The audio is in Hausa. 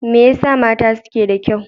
Me yasa mata suke da kyau?